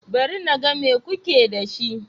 Bari na ga mai kuke da shi.